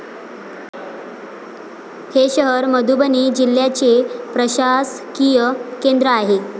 हे शहर मधुबनी जिल्ह्याचे प्रशासकीय केंद्र आहे.